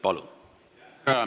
Palun!